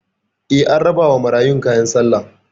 Eh, an rabawa marayun kayan sallah